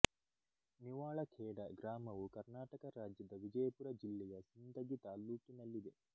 ನಿವಾಳಖೇಡ ಗ್ರಾಮವು ಕರ್ನಾಟಕ ರಾಜ್ಯದ ವಿಜಯಪುರ ಜಿಲ್ಲೆಯ ಸಿಂದಗಿ ತಾಲ್ಲೂಕಿನಲ್ಲಿದೆ